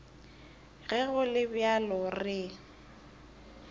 ge go le bjalo re